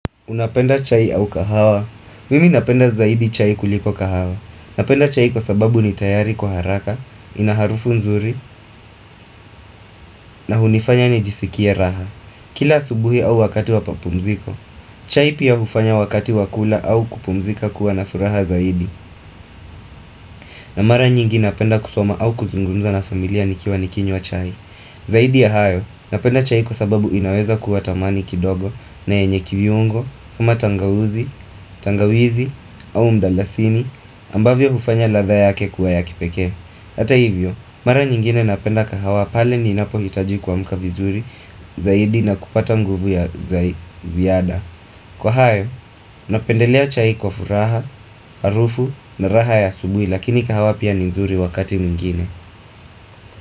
Unapenda chai au kahawa? Mimi napenda zaidi chai kuliko kahawa. Napenda chai kwa sababu ni tayari kwa haraka, inaharufu nzuri, na hunifanya nijisikie raha. Kila subuhi au wakati wapapumziko, chai pia ufanya wakati wakula au kupumzika kuwa na furaha zaidi. Na mara nyingi napenda kusoma au kuzungumza na familia nikiwa nikinywa chai. Zaidi ya hayo, napenda chai kwa sababu inaweza kuwa tamani kidogo na yenye kiyungo kuma tangawizi, tangawizi au mdalasini ambavyo hufanya latha yake kuwa ya kipekee Ata hivyo, mara nyingine napenda kahawa pale ninapo hitaji kumka vizuri zaidi na kupata nguvu ya viyada Kwa hayo, napendelea chai kwa furaha, arufu na raha ya asubui lakini kahawa pia nizuri wakati mwingine.